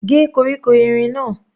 Gé koríko erin náà.